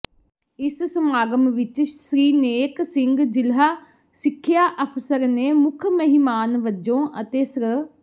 ਇਸ ਸਮਾਗਮ ਵਿਚ ਸ੍ਰੀ ਨੇਕ ਸਿੰਘ ਜਿਲ੍ਹਾ ਸਿੱਖਿਆ ਅਫ਼ਸਰ ਨੇ ਮੁੱਖ ਮਹਿਮਾਨ ਵਜੋਂ ਅਤੇ ਸ੍ਰ